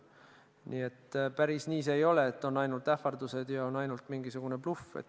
Nii et päris nii ei ole, et on ainult ähvardused ja mingisugune bluff.